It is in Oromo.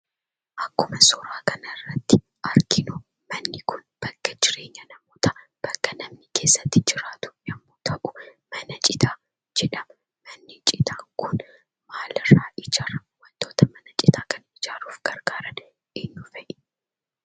Akkuma suuraa kanarratti arginu, bakka jireenya namoota, bakka namoonni keessa jiraatu yemmu ta'u, mana citaa jedhama. Manni citaan kun maaliirra ijaarama? wantoota mana cita kana ijaaruudhaf gargaaran eenyuu fa'i?